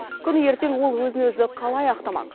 күні ертең ол өзін өзі қалай ақтамақ